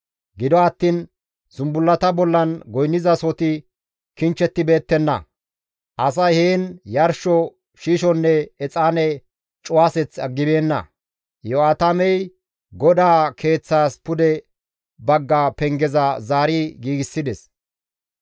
Gido attiin zumbullata bollan goynnizasohoti kichchibeettenna; asay heen yarsho shiishonne exaane cuwaseth aggibeenna. Iyo7aatamey GODAA Keeththas pude bagga pengeza zaari giigsides.